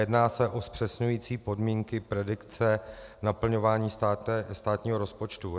Jedná se o zpřesňující podmínky predikce naplňování státního rozpočtu.